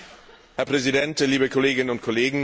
Herr Präsident, liebe Kolleginnen und Kollegen!